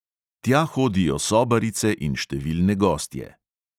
Tja hodijo sobarice in številne gostje.